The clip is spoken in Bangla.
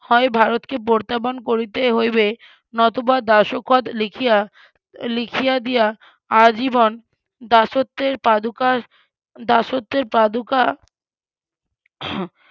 হয় ভারতকে প্রত্যাবন করিতে হইবে নতুবা দাসখত লিখিয়া লিখিয়া দিয়া আজীবন দাসত্বের পাদুকা দাসত্বের